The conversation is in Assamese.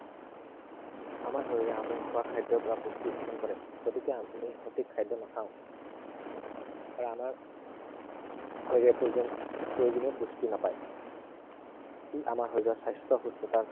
আমাৰ শৰীৰে আমি খোৱা খাদ্য়ৰ পৰা পুষ্টি শোষণ কৰে। গতিকে আমি সঠিক খাদ্য় নাখাও আৰু আমাৰ শৰীৰে প্ৰয়োজনীয় পুষ্টি নাপায়। ই আমাৰ শৰীৰৰ স্বাস্থ্য় সুস্থতাৰ